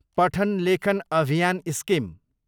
पठन लेखन अभियान स्किम